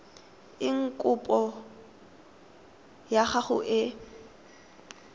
eng kopo ya gago e